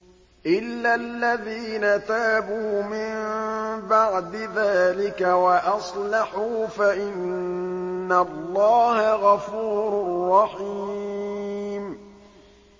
إِلَّا الَّذِينَ تَابُوا مِن بَعْدِ ذَٰلِكَ وَأَصْلَحُوا فَإِنَّ اللَّهَ غَفُورٌ رَّحِيمٌ